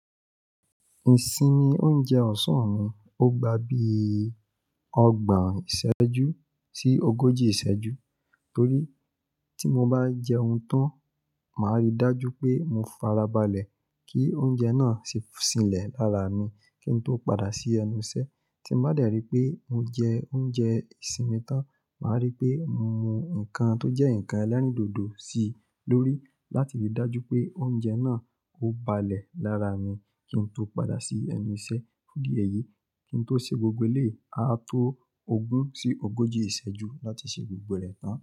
Ìsinmi oúnjẹ ọ̀sán mi, ó gba bí ọgbọ̀n ìṣẹ́jú sí ogójì ìṣẹ́jú torí tí mo bá jẹun tán, màá rí dájú pé mo farabalẹ̀ kí oúnjẹ náà sì fi ṣilẹ̀ lára mi kí n tó padà sí ẹnu iṣẹ́. Tí mo bá dẹ̀ rí pé mo jẹ oúnjẹ ìsinmi tán, màá rí pé mo mú nǹkan tó jẹ́ ǹkan ẹlẹ́rìndòdò sí lórí láti rí dájú pé oúnjẹ náà ó balẹ̀ lára mi kí n tó padà sí ẹnu iṣẹ́. Fún idi eyi, kí n tó ṣe gbogbo eléyi, a to ogún sí ogójì ìṣẹ́jú láti ṣe gbogbo rẹ̀ tán.